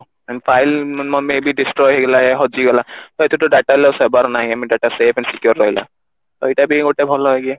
file maybe destroy ହେଇଗଲା ୟା ହଜିଗଲା ତ ଏଥିରେ ତ data loss ହବାର ନାହିଁ ଆମ data safe and secure ରହିଲା ତ ଏଇଟା ବି ଗୋଟେ ଭଲ ଇଏ